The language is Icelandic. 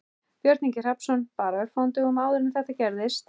Björn Ingi Hrafnsson: Bara örfáum dögum áður en þetta gerðist?